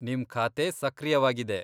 ನಿಮ್ ಖಾತೆ ಸಕ್ರಿಯವಾಗಿದೆ.